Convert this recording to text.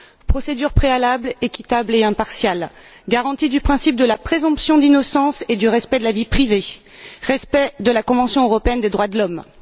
procédure préalable, équitable et impartiale, garantie du principe de la présomption d'innocence et du respect de la vie privée, respect de la convention européenne des droits de l'homme.